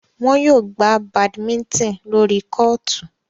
Wọn yóò gbà badminton lórí kootu